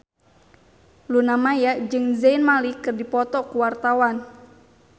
Luna Maya jeung Zayn Malik keur dipoto ku wartawan